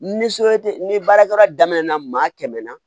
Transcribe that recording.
Ni soɲɛ te ni baarakɛ yɔrɔ daminɛna maa kɛmɛ na